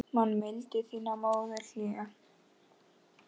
Man mildi þína móðirin hlýja.